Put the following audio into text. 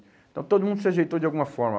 Então todo mundo se ajeitou de alguma forma.